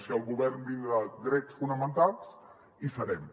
si el govern blinda drets fonamentals hi serem